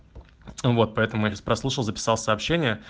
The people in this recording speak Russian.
вот поэтому я сейчас прослушал записался сообщение